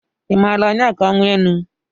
I maara Onyeka Owenu?